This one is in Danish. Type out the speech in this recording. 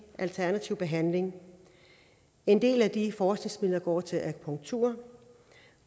alternativ behandling en del af de forskningsmidler går til akupunktur